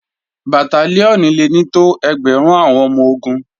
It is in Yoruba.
Bàtálíọ̀nì le ní tó ẹgbẹ̀rún àwọn ọmọ-ogun